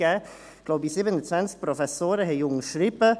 Ich glaube, 27 Professoren haben unterschrieben.